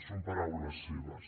són paraules seves